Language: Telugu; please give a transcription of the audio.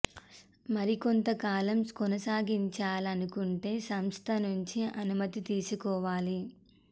మరికొంత కాలం కొనసాగించాలనుకుంటే సంస్థ నుంచి అనుమతి తీసుకోవాలి